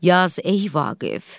Yaz ey Vaqif!